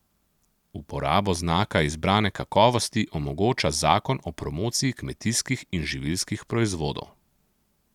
Uporabo znaka izbrane kakovosti omogoča zakon o promociji kmetijskih in živilskih proizvodov.